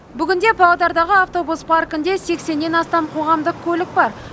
бүгінде павлодардағы автобус паркінде сексеннен астам қоғамдық көлік бар